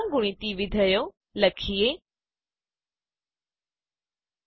ક્રમગુણિત વિધેયો factorial functions લખીએ